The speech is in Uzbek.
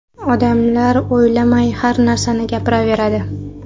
Odamlar o‘ylamay har narsani gapiraveradi.